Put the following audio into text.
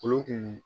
Olu kun